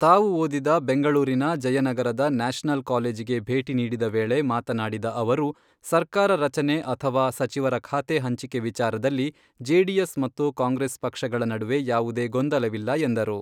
ತಾವು ಓದಿದ ಬೆಂಗಳೂರಿನ ಜಯನಗರದ ನ್ಯಾಷನಲ್ ಕಾಲೇಜಿಗೆ ಭೇಟಿ ನೀಡಿದ ವೇಳೆ ಮಾತನಾಡಿದ ಅವರು, ಸರ್ಕಾರ ರಚನೆ ಅಥವಾ ಸಚಿವರ ಖಾತೆ ಹಂಚಿಕೆ ವಿಚಾರದಲ್ಲಿ ಜೆಡಿಎಸ್ ಮತ್ತು ಕಾಂಗ್ರೆಸ್ ಪಕ್ಷಗಳ ನಡುವೆ ಯಾವುದೇ ಗೊಂದಲವಿಲ್ಲ ಎಂದರು.